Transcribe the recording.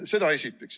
Seda esiteks.